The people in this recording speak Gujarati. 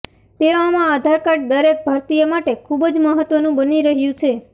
તેવામાં આધાર કાર્ડ દરેક ભારતીય માટે ખુબ જ મહત્વનું બની રહ્યું છે